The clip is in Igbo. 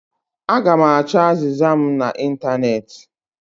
Aga m achọ azịza mụ na ịntanetị